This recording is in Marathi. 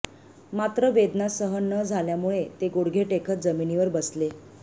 मात्र वेदना सहन न झाल्यामुळे ते गुडघे टेकत जमिनीवर बसले